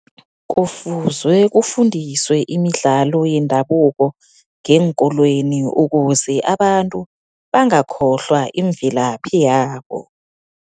Kufuzwe kufundiswe imidlalo yendabuko ngeenkolweni, ukuze abantu bangakhohlwa imvelaphi yabo.